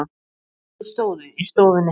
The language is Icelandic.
Þau stóðu í stofunni.